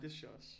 Det synes jeg også